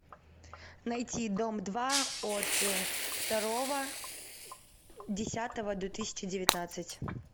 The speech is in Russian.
найти дом два от второго десятого две тысячи девятнадцать